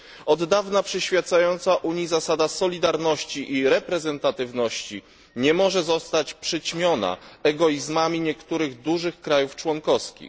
Od dawna przyświecająca Unii zasada solidarności i reprezentatywności nie może zostać przyćmiona egoizmami niektórych dużych państw członkowskich.